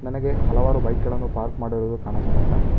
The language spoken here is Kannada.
ನನಗೆ ಹಲವಾರು ಬೈಕ್ ಗಳನ್ನು ಪಾರ್ಕ್ ಮಾಡಿರುವುದು ಕಾಣಸ್ತಾಯ್ದೆ.